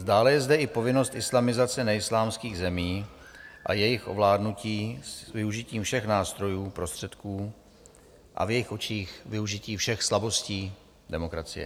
Dále je zde i povinnost islamizace neislámských zemí a jejich ovládnutí s využitím všech nástrojů, prostředků a v jejich očích využití všech slabostí demokracie.